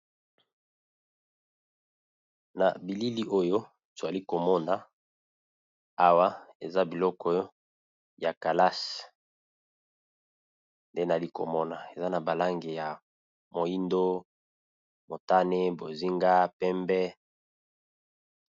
Na bilili oyo twali komona awa eza biloko ya kalase nde nali komona eza na balange ya moindo motane bozinga pembe.